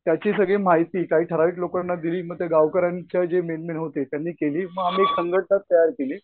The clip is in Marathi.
त्याची सगळी माहिती काही ठराविक लोकांना दिली गावकऱ्यांच्या जे मेन मेन होते ही मग आम्ही संघटना तयार केली.